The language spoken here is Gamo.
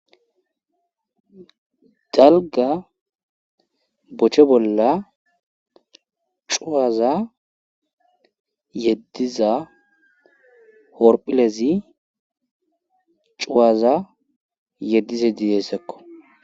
dalga bochche bolla cuwaza yeddiza horphilezi cuwaza yeddize didessakko